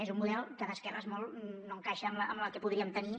és un model que d’esquerres molt no encaixa amb el que podríem tenir